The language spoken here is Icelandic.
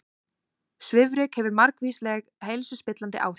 Svifryk hefur margvísleg heilsuspillandi áhrif